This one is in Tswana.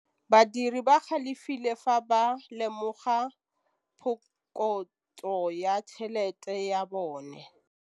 Badiri ba galefile fa ba lemoga phokotsô ya tšhelête ya bone.